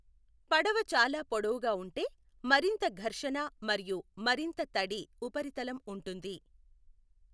పడవ చాలా పొడవుగా ఉంటే, మరింత ఘర్షణ మరియు మరింత తడి ఉపరితలం ఉంటుంది.